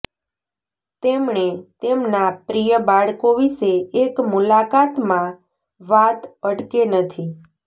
તેમણે તેમના પ્રિય બાળકો વિશે એક મુલાકાતમાં વાત અટકે નથી